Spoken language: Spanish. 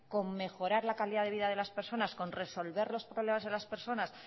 con mejorar la calidad de vida de las personas con resolver los problemas de las personas